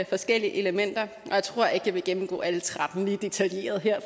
forskellige elementer og jeg tror ikke at jeg vil gennemgå alle tretten lige detaljeret her